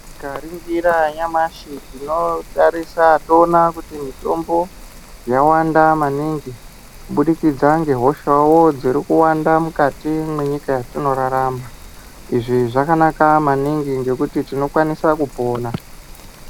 Tikaringira nyamashe, tinotarisa towona kuti mitombo yawanda maningi, kubudikidza ngehosha wo, dzirikuwanda mukati mwenyika yatinorarama. Izvi zvakanaka maningi, ngekuti tinokwanisa kupona.